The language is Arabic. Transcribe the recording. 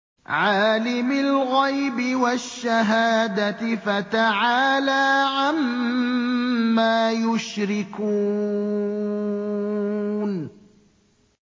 عَالِمِ الْغَيْبِ وَالشَّهَادَةِ فَتَعَالَىٰ عَمَّا يُشْرِكُونَ